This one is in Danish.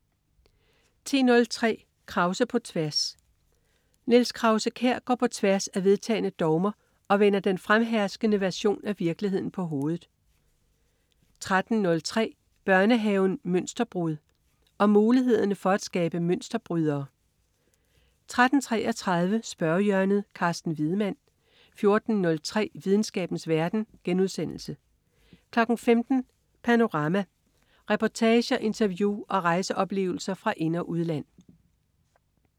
10.03 Krause på tværs. Niels Krause-Kjær går på tværs af vedtagne dogmer og vender den fremherskende version af virkeligheden på hovedet 13.03 Børnehaven Mønsterbrud. Om mulighederne for at skabe mønsterbrydere 13.33 Spørgehjørnet. Carsten Wiedemann 14.03 Videnskabens verden* 15.00 Panorama. Reportager, interview og rejseoplevelser fra ind- og udland